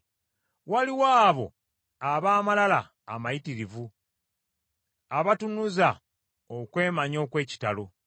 Waliwo abo ab’amalala amayitirivu, abatunuza okwemanya okw’ekitalo,